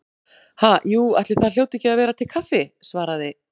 Ha, jú, ætli það hljóti ekki að vera til kaffi- svaraði